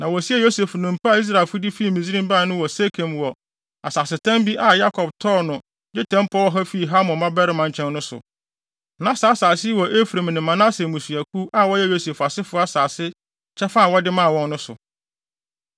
Na wosiee Yosef nnompe a Israelfo de fi Misraim bae no wɔ Sekem wɔ asasetam bi a Yakob tɔɔ no dwetɛ mpɔw ɔha fii Hamor mmabarima nkyɛn no so. Na saa asase yi wɔ Efraim ne Manase mmusuakuw a wɔyɛ Yosef asefo asase kyɛfa a wɔde maa wɔn no so.